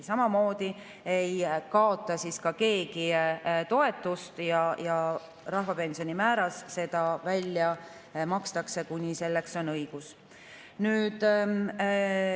Samamoodi keegi toetust ei kaota ja seda makstakse rahvapensioni määras, kuni selleks on õigus.